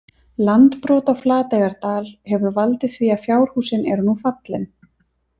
Landbrot á Flateyjardal hefur valdið því að fjárhúsin eru nú fallin.